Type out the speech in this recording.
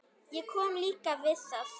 Ég kom líka við það.